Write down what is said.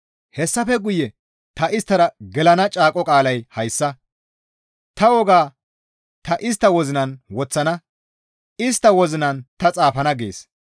«Hessafe guye ta isttara gelana caaqo qaalay hayssa. Ta wogaa ta istta wozinan woththana; istta wozinan ta xaafana» gees.